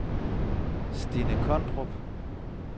Stinne Kondrup